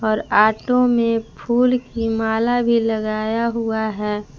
और ऑटो में फूल की माला भी लगाया हुआ है।